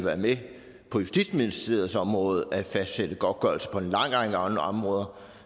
på justitsministeriets område at fastsætte godtgørelse på en lang række andre områder